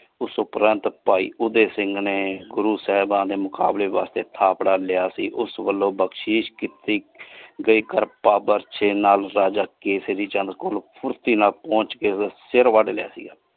ਉਸ ਉਪਰੰਤ ਪਾਈ ਉਧੇ ਸਿੰਘ ਨੇ ਗੁਰੂ ਸਾਹਿਬਾ ਦੇ ਮੁਕ਼ਾਬਲੇ ਵਾਸਤੇ ਥਾਪੜਾ ਲਿਆ ਸੀ ਓਸ ਵਾਲੋ ਬਖਸ਼ਿਸ਼ ਕਈ ਕੇਸਰੀ ਚੰਨ ਕੋਲੋ ਫੁਰਤੀ ਨਾਲ ਪਹੁੰਚ ਕੇ ਸਿਰ ਵੱਡ ਦਿਆਂਗੇ।